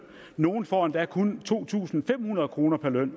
nogle får endda kun to tusind fem hundrede kroner i løn